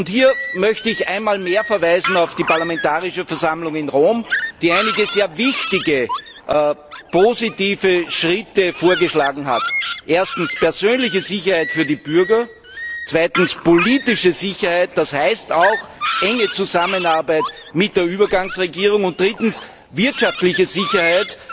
Hier möchte ich einmal mehr auf die Parlamentarische Versammlung in Rom verweisen, die einige sehr wichtige positive Schritte vorgeschlagen hat erstens persönliche Sicherheit für die Bürger, zweitens politische Sicherheit das heißt auch enge Zusammenarbeit mit der Übergangsregierung und drittens wirtschaftliche Sicherheit.